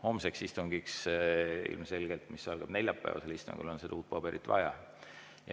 Homseks istungiks ilmselgelt, mis algab neljapäeval, on uut paberit vaja.